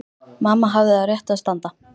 Mamma hafði á réttu að standa.